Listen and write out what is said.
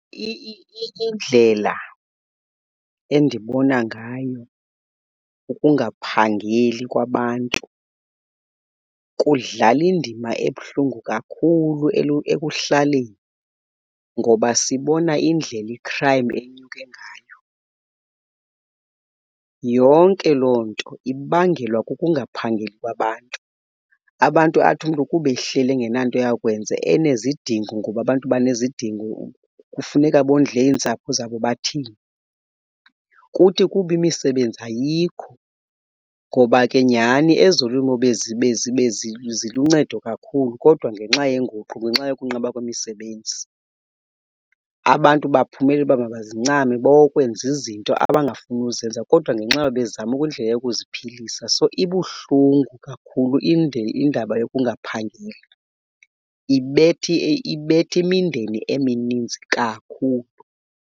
Indlela endibona ngayo ukungaphangeli kwabantu kudlala indima ebuhlungu kakhulu ekuhlaleni ngoba sibona indlela i-crime enyuke ngayo. Yonke loo nto ibangelwa kukungaphangeli kwabantu. Abantu athi umntu kuba ehleli engenanto yakwenza enezidingo ngoba abantu banezidingo kufuneka bondle iintsapho zabo bathini. Kuthi kuba imisebenzi ayikho ngoba ke nyhani ezolimo ziluncedo kakhulu kodwa ngenxa yenguqu ngenxa yokunqaba kwemisebenzi abantu baphumele uba mabazincame bokwenza izinto abangafuni ukuzenza kodwa ngenxa yoba bezama indlela yokuziphilisa. So, ibuhlungu kakhulu indaba yokungaphangeli, ibetha imindeni emininzi kakhulu.